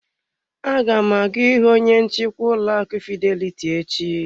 Aga m aga ịhụ onye nchịkwa ụlọ akụ fidelity echi.